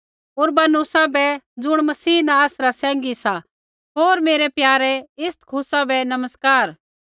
उरवानुसा बै ज़ुण मसीह न आसरा सैंघी सा होर मेरै प्यारे इस्तखुसा बै नमस्कार